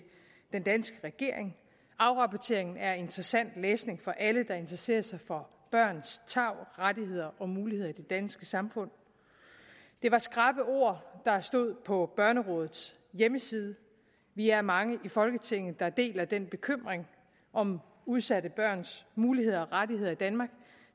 den danske regering afrapporteringen er interessant læsning for alle der interesserer sig for børns tarv rettigheder og muligheder i det danske samfund det var skrappe ord der stod på børnerådets hjemmeside vi er mange i folketinget der deler den bekymring om udsatte børns muligheder og rettigheder i danmark og